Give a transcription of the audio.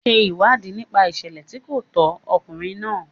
Ṣe ìwádìí nípa ìṣẹ̀lẹ̀ tí kò tọ́ ọkùnrin náà.